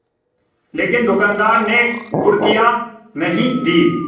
लेकिन दुकानदार ने घुड़कियाँ नहीं दीं